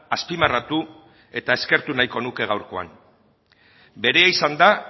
azpimarratu eta eskertu nahiko nuke gaurkoan berea izan da